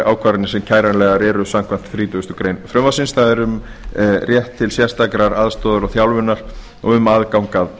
ákvarðanir sem kæranlegar eru samkvæmt þrítugustu greinar frumvarpsins það er um rétt til sérstakrar aðstoðar og þjálfunar og um aðgang að